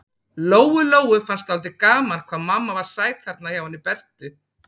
Lóu-Lóu fannst dálítið gaman hvað mamma var sæt þarna hjá henni Bertu.